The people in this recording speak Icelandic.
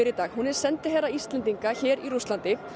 í dag hún er sendiherra Íslands í Rússlandi